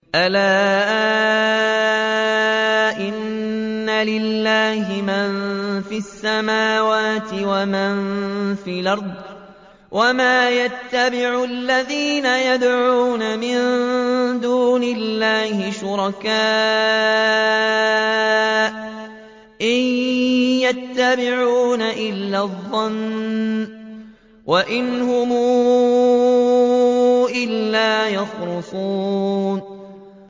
أَلَا إِنَّ لِلَّهِ مَن فِي السَّمَاوَاتِ وَمَن فِي الْأَرْضِ ۗ وَمَا يَتَّبِعُ الَّذِينَ يَدْعُونَ مِن دُونِ اللَّهِ شُرَكَاءَ ۚ إِن يَتَّبِعُونَ إِلَّا الظَّنَّ وَإِنْ هُمْ إِلَّا يَخْرُصُونَ